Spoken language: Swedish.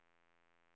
Stigtomta